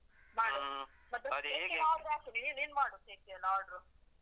ಮಾಡು ಮತ್ತೆ? ಹಾಕಿದೀವಿ ನೀನು ಮಾಡು cake ಎಲ್ಲ order